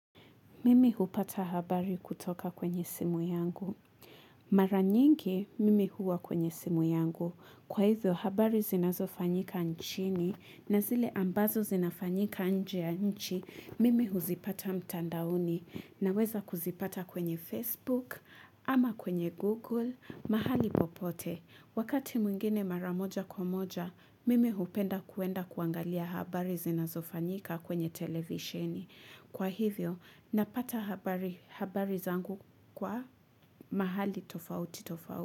Mimi hupata habari kutoka kwenye simu yangu. Mara nyingi, mimi huwa kwenye simu yangu. Kwa hivyo, habari zinazo fanyika nchini, na zile ambazo zinafanyika nje ya nchi, mimi huzipata mtandauni, na weza kuzipata kwenye Facebook, ama kwenye Google, mahali popote. Wakati mwingine maramoja kwamoja, mimi hupenda kuenda kuangalia habari zinazofanyika kwenye televisheni. Kwa hivyo, napata habari zangu kwa mahali tofauti tofauti.